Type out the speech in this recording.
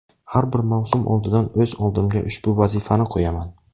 Har bir mavsum oldidan o‘z oldimga ushbu vazifani qo‘yaman.